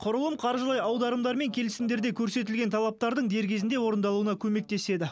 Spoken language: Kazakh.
құрылым қаржылай аударымдар мен келісімдерде көрсетілген талаптардың дер кезінде орындалуына көмектеседі